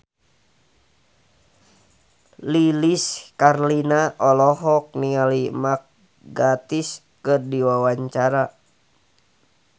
Lilis Karlina olohok ningali Mark Gatiss keur diwawancara